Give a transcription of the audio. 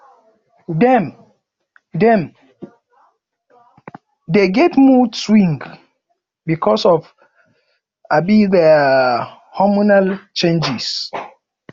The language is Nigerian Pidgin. dem dem dey get mood swings because of um their hormonal changes